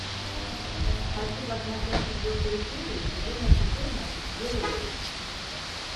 хочу посмотреть четвертую серию сезона четырнадцать герои